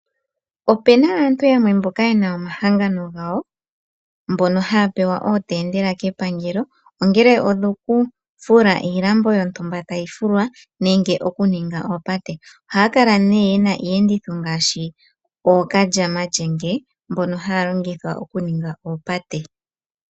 Opuna aantu yamwe mboka yena omahangano gawo, mbono haya pewa ootendela kepangelo, ongele odhoku fula iilambo yontumba tayi fulwa, nenge okuninga oopate. Ohaya kala nee yena iiyenditho ngaashi ookalyamalyenge, mbono haya longithwa okuninga oopate.